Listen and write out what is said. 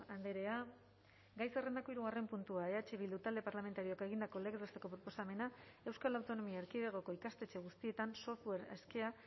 andrea gai zerrendako hirugarren puntua eh bildu talde parlamentarioak egindako legez besteko proposamena euskal autonomia erkidegoko ikastetxe guztietan software askea